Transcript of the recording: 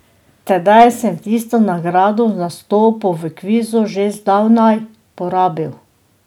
Tedaj sem tisto nagrado z nastopa v kvizu že zdavnaj porabil.